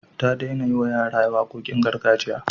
Ta daina yiwa yara waƙoƙin gargajiya.